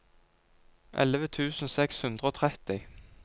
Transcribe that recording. elleve tusen seks hundre og tretti